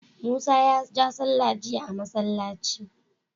musa ya ja sallah jiya a masallaci